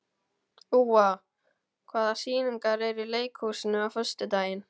Úa, hvaða sýningar eru í leikhúsinu á föstudaginn?